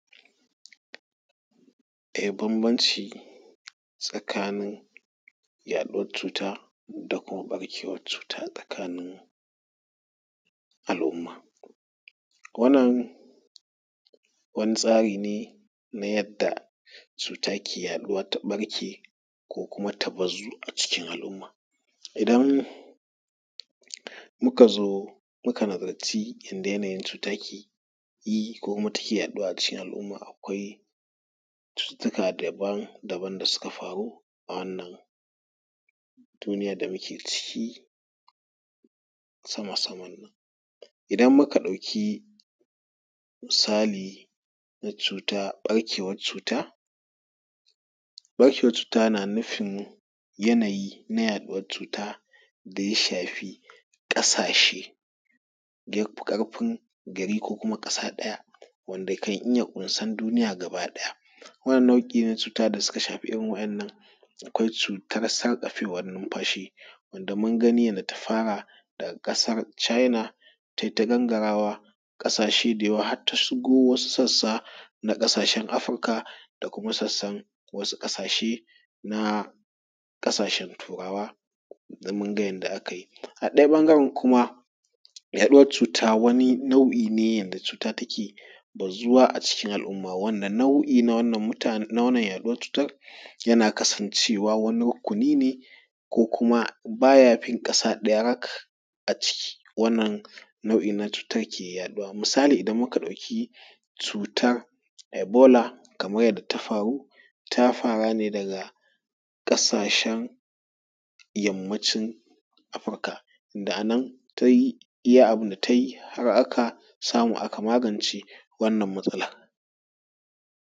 Banbanci tsakanin yaɗuwan cuta da kuma ɓarkewan cuta a cikin al'umma. Wannan wani tsari ne na yadda cuta ke yaɗuwa ta ɓarke ko kuma ta bazu a cikin al'umma. Idan in ka zo ka nazarci yanayin cuta yake yi ko kuma take yaɗuwa a cikin al'umma, akwai cututuka daban -daban da suka faru a wannan duniyar da muke ciki sama sama. Idan ka ɗauki misali da ɓarkewan cuta. Ɓarkewan cuta yana nufin yanayi na yaɗuwan cuta da ya shafi ƙasashen da ya fi ƙarfin gari ko ƙasa ɗaya wanda kan iya ƙunsan duniya gaba ɗaya. Wannan nau'i na cuta da suka shafa wa'inanan akwai cutar sarƙafewan nunfashi, da mun gani yanda ta fara daga ƙasan china tai ta gangarawa ƙasashe da yawa har ta shigo wasu sassa ta Afirika da kuma sassan na wasu ƙasashe na turawa, mun ga yanda aka yi a ɗayan ɓangaren kuma yaɗuwan cuta wani nau'i ne yanda cuta take bazuwa a cikin al'umma wanda nau’i na wa'innan yaɗuwan cutar yana kasancewa wani rukuni ne ko kuma baya fin ƙasa ɗaya rak a ciki wannan nau'i na cuta ke yaɗuwa. Misali idan muka ɗauki cutar ebola kaman yanda ta faru ta fara daga ƙasashen yammacin Afirika wanda a nan ta yi iya abun da ta yi har aka samu aka magance matsalan.